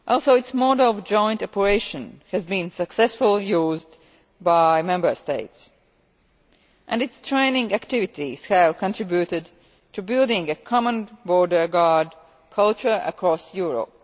Its model of joint operations has also been successfully used by Member States, and its training activities have contributed to building a common border guard culture across Europe.